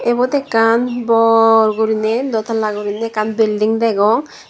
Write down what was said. ebot ekkan borguriney dotala guriney ekkan bilding degong.